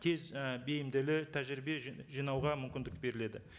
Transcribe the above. тез і бейімділі тәжірибе жинауға мүмкіндік беріледі